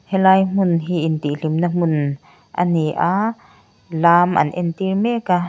helai hmun hi intih hlimna hmun ani a lam an entir mek a.